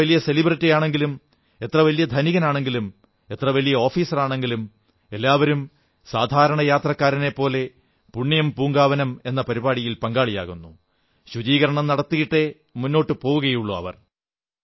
എത്ര വലിയ സെലിബ്രിറ്റിയാണെങ്കിലും എത്രവലിയ ധനികനാണെങ്കിലും എത്ര വലിയ ഓഫീസറാണെങ്കിലും എല്ലാവരും സാധാരണ ഭക്തരെപ്പോലെ പുണ്യം പൂങ്കാവനം എന്ന പരിപാടിയിൽ പങ്കാളിയാകുന്നു ശുചീകരണം നടത്തിയിട്ടേ മുന്നോട്ടു പോവുകയുള്ളൂ